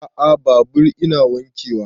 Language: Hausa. A'a babur ina nake wanke wa